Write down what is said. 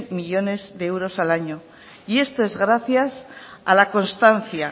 millónes de euros al año y esto es gracias a la constancia